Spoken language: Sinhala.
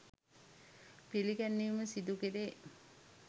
පිළිගැන්වීම සිදුකෙරේ.